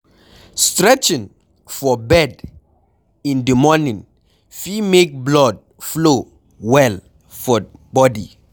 Stretching for bed in di moning fit make blood flow well for bodi